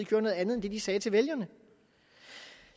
gjorde noget andet end det de sagde til vælgerne